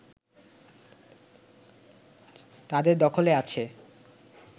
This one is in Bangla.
তাদের দখলে আছে